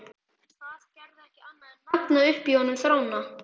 Það gerði ekki annað en magna upp í honum þrána.